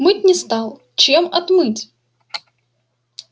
мыть не стал чем отмыть